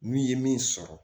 N'u ye min sɔrɔ